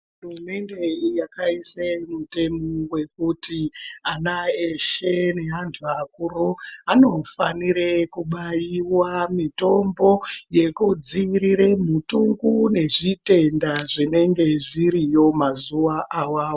Hurumende yedu yakaisa mutemo wekuti ana eshe neandu akuru anofanira kubaiwa mitombo yekudzivirira mutungu nezvitenda zvinenge zviriyo mazuva awawo.